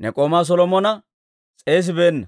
ne k'oomaa Solomona s'eesibeenna.